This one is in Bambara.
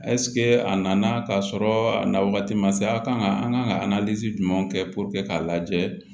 a nana ka sɔrɔ a na wagati ma se a kan ka an kan ka jumɛnw kɛ puruke k'a lajɛ